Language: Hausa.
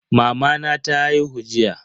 Mamana ta haihu jiya.